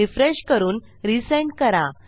refresh करून resend करा